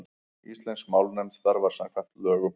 Íslensk málnefnd starfar samkvæmt lögum.